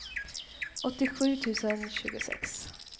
åttiosju tusen tjugosex